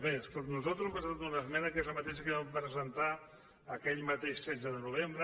bé escolti nosaltres hem presentat una esmena que és la mateixa que ja vam presentar aquell mateix setze de novembre